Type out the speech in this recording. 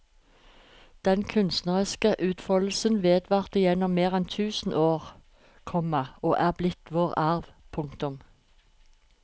Den kunstneriske utfoldelsen vedvarte gjennom mer enn tusen år, komma og er blitt vår arv. punktum